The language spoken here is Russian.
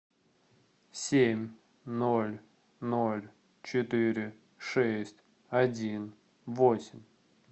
семь ноль ноль четыре шесть один восемь